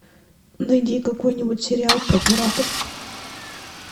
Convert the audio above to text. найди какой нибудь сериал про пиратов